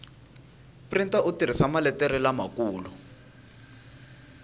printa u tirhisa maletere lamakulu